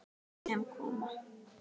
Sem koma.